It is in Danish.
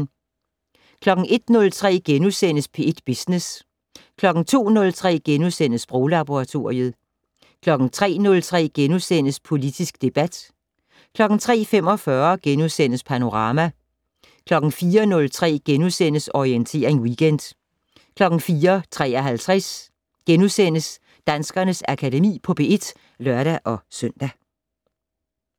01:03: P1 Business * 02:03: Sproglaboratoriet * 03:03: Politisk debat * 03:45: Panorama * 04:03: Orientering Weekend * 04:53: Danskernes Akademi på P1 *(lør-søn)